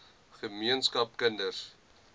ge meenskap kinders